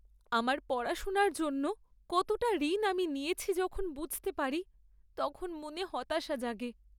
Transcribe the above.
আমার পড়াশোনার জন্য কতটা ঋণ আমি নিয়েছি যখন বুঝতে পারি তখন মনে হতাশা জাগে!